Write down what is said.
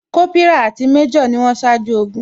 Kópírà àti major ni wón ṣáájú ogun